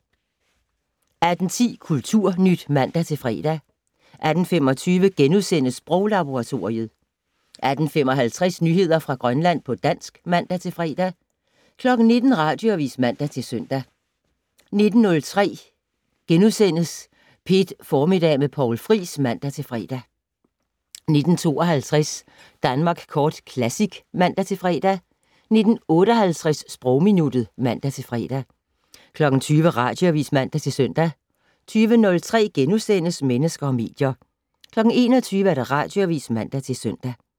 18:10: Kulturnyt (man-fre) 18:25: Sproglaboratoriet * 18:55: Nyheder fra Grønland på dansk (man-fre) 19:00: Radioavis (man-søn) 19:03: P1 Formiddag med Poul Friis *(man-fre) 19:52: Danmark Kort Classic (man-fre) 19:58: Sprogminuttet (man-fre) 20:00: Radioavis (man-søn) 20:03: Mennesker og medier * 21:00: Radioavis (man-søn)